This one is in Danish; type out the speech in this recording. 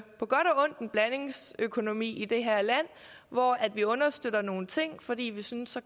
på godt og ondt en blandingsøkonomi i det her land hvor vi understøtter nogle ting fordi vi synes at